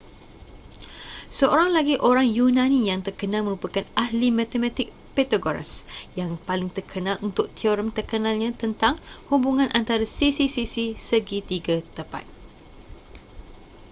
seorang lagi orang yunani yang terkenal merupakan ahli matematik pythagoras yang paling terkenal untuk teorem terkenalnya tentang hubungan antara sisi-sisi segi tiga tepat